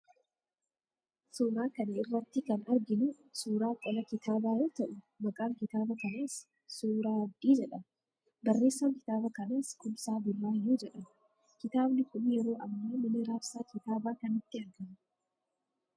Suuraa kana irratti kan arginu suuraa qola kitaabaa yoo ta'u, maqaan kitaaba kanaas 'Suuraa Abdii' jedhama. Barreessaan kitaaba kanaas Kumsaa Buraayyuu jedhama. Kitaabni kun yeroo ammaa mana raabsaa kitaabaa kamitti argama?